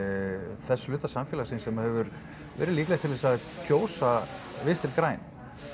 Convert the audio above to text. þess hluta samfélagsins sem hefur verið líklegur til að kjósa Vinstri græn